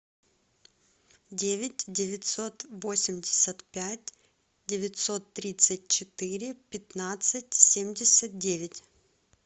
девять девятьсот восемьдесят пять девятьсот тридцать четыре пятнадцать семьдесят девять